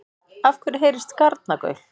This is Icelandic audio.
Af hverju heyrist garnagaul?